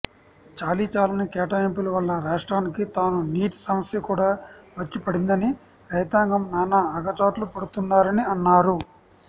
చాలీచాలని కేటాయింపులు వల్ల రాష్ట్రానికి తానునీటి సమస్య కూడా వచ్చిపడిందని రైతాంగం నానా అగచాట్లు పడుతున్నారని అన్నారు